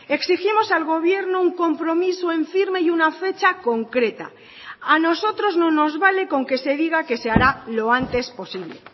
exigimos al gobierno un compromiso en firme y una fecha concreta a nosotros no nos vale con que se diga que se hará lo antes posible